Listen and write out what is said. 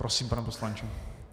Prosím, pane poslanče.